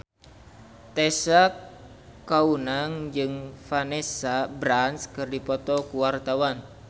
Tessa Kaunang jeung Vanessa Branch keur dipoto ku wartawan